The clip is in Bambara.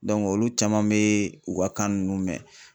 olu caman be u ka kan nunnu mɛn